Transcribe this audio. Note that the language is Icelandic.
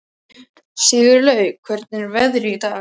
Sigurlaug, hvernig er veðrið í dag?